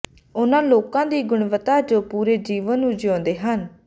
ਉਨ੍ਹਾਂ ਲੋਕਾਂ ਦੀ ਗੁਣਵੱਤਾ ਜੋ ਪੂਰੇ ਜੀਵਣ ਨੂੰ ਜਿਊਂਦੇ ਹਨ